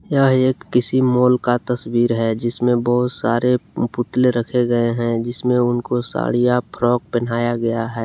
एक किसी माल का तस्वीर है जिसमें बहुत सारे पुतले रखे गए हैं जिसमें उनका साड़ी या फ्रॉक पहनाया गया है।